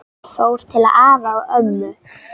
Fór til afa og ömmu.